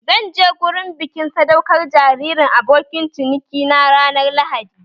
Zan je gurin bikin sadaukar jaririn abokin ciniki na ranar lahadi